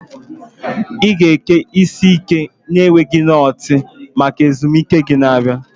Ị ga-eke isi ike na-enweghị knotu maka ezumike gị na-abịa.